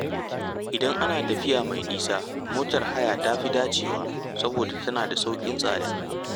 Idan ana tafiya mai nisa, motar haya ta fi dacewa saboda tana da sauƙin tsada.